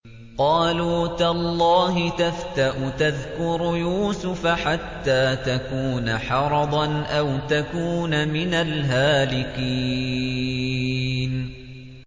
قَالُوا تَاللَّهِ تَفْتَأُ تَذْكُرُ يُوسُفَ حَتَّىٰ تَكُونَ حَرَضًا أَوْ تَكُونَ مِنَ الْهَالِكِينَ